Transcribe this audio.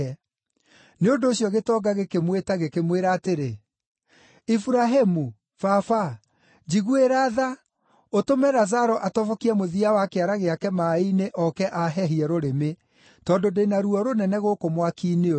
Nĩ ũndũ ũcio gĩtonga gĩkĩmwĩta gĩkĩmwĩra atĩrĩ, ‘Iburahĩmu, Baba, njiguĩra tha, ũtũme Lazaro atobokie mũthia wa kĩara gĩake maaĩ-inĩ ooke aahehie rũrĩmĩ, tondũ ndĩ na ruo rũnene gũkũ mwaki-inĩ ũyũ.’